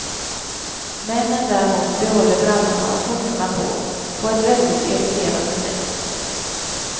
Männen däremot behåller brallorna och skjortorna på, på ett väldigt irriterande sätt.